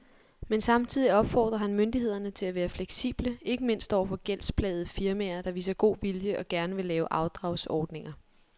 Men samtidig opfordrer han myndighederne til at være fleksible, ikke mindst over for gældsplagede firmaer, der viser god vilje og gerne vil lave afdragsordninger.